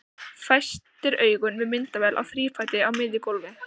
Festir augun við myndavél á þrífæti á miðju gólfi.